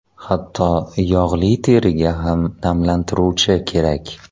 Hatto yog‘li teriga ham namlantiruvchi kerak.